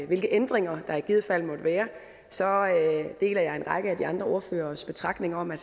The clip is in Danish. hvilke ændringer der i givet fald måtte være så deler jeg en række af de andre ordføreres betragtninger om at